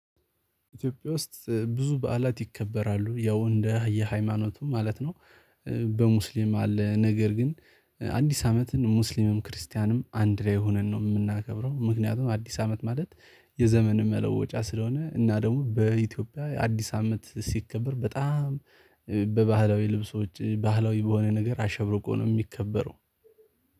ኢትዮጵያ ውስጥ ብዙ በዓላት ይከበራሉ ያው እንደ የሃይማኖቱ ማለት ነው በሙስሊም አለ ነገር ግን አዲስ አመትን ሙስሊምም ክርስቲያንም አንድ ላይ ሆነን ነው የምናከብረው፤ ምክንያቱም አዲስ አመት ማለት የዘመን መለወጫ ስለሆነ እና ደግሞ በኢትዮጵያ አዲስ አመት ሲከበር በጣም በባህላዊ ልብሶች ባህላዊ በሆነ ነገር አሸብርቆ ነው የሚከበረው።